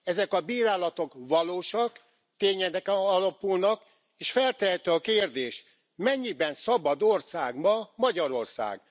Ezek a bírálatok valósak, tényeken alapulnak és feltehető a kérdés mennyiben szabad ország ma Magyarország?